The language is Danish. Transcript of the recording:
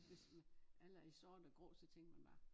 Hvis nu alle er i sort og grå så så tænker man bare